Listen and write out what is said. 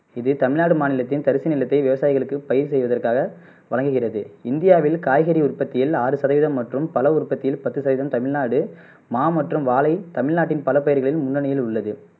இது தமிழ்நாடு மாநிலத்தின் தரிசு நிலத்தை விவசாயிகளுக்கு பயிர் செய்வதற்காக வழங்குகிறது இந்தியாவில் காய்கறி உற்பத்தியில் ஆறு சதவிகிதம் மற்றும் பழ உற்பத்தியில் பத்து சதவிகிதம் தமிழ்நாடு மா மற்றும் வாழை தமிழ்நாட்டின் பல பயிர்களில் முன்னனியில் உள்ளது